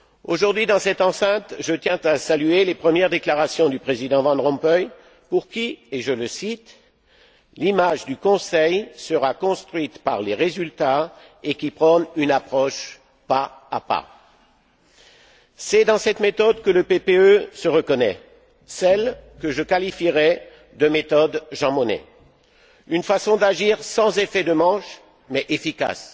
Aujourd'hui, dans cette enceinte, je tiens à saluer les premières déclarations du président Van Rompuy pour qui je le cite l'image du Conseil sera construite par les résultats, et qui prône une approche pas à pas. C'est dans cette méthode que le PPE se reconnaît, celle que je qualifierai de méthode Jean Monnet, une façon d'agir sans effet de manches mais efficace.